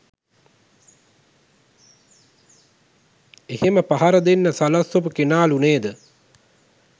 එහෙම පහර දෙන්න සලස්වපු කෙනාලු නේද